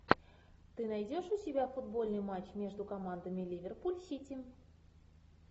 ты найдешь у себя футбольный матч между командами ливерпуль сити